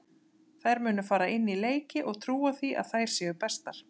Þær munu fara inn í leiki og trúa því að þær séu bestar.